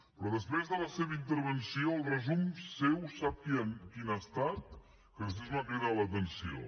però després de la seva intervenció el resum seu sap quin ha estat que després m’ha cridat l’atenció